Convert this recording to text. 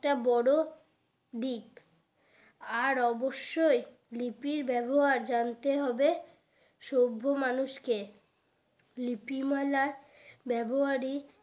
একটা বড়ো দিক আর অবশ্যই লিপির ব্যাবহার জানতে হবে সভ্য মানুষ কে লিপিমালার ব্যাবহারী